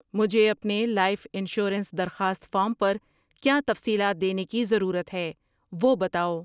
مجھے اپنے life insurance درخواست فارم پر کیا تفصیلات دینے کی ضرورت ہے وہ بتاؤ۔